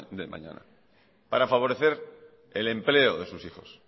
del mañana para favorecer el empleo de sus hijos